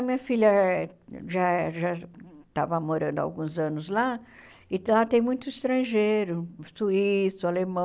A minha filha já já estava morando há alguns anos lá, e lá tem muitos estrangeiros, suíço, alemão.